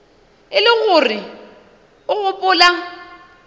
e le gore o gopola